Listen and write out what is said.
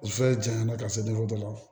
O fɛn janyana ka se dɔ la